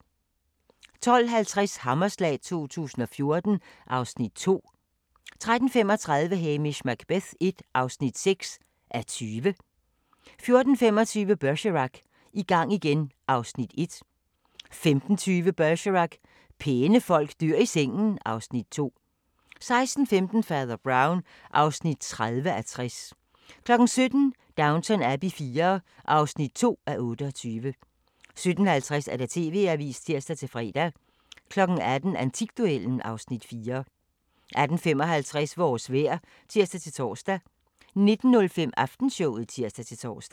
12:50: Hammerslag 2014 (Afs. 2) 13:35: Hamish Macbeth l (6:20) 14:25: Bergerac: I gang igen (Afs. 1) 15:20: Bergerac: Pæne folk dør i sengen (Afs. 2) 16:15: Fader Brown (30:60) 17:00: Downton Abbey IV (2:28) 17:50: TV-avisen (tir-fre) 18:00: Antikduellen (Afs. 4) 18:55: Vores vejr (tir-tor) 19:05: Aftenshowet (tir-tor)